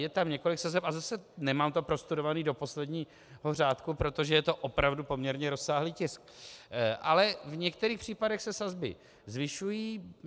Je tam několik sazeb, a zase nemám to prostudováno do posledního řádku, protože je to opravdu poměrně rozsáhlý tisk, ale v některých případech se sazby zvyšují.